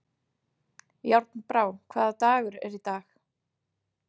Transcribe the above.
Járnbrá, hvaða dagur er í dag?